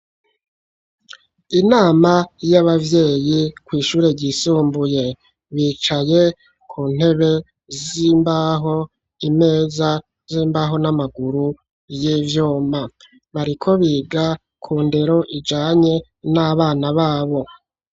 Inama y'abavyeyi, kw'ishure ryisumbuye, bicaye ku ntebe z'imbaho, imeza z'imbaho, n'amaguru y'ivyuma; bariko biga ku ndero, ijanye n'abana babo.